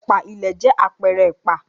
Ẹ̀pà ìlẹ̀ jẹ́ àpẹẹrẹ ẹ̀pà.